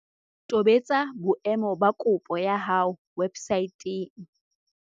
Tobetsa boemo ba kopo ya hao websaeteng.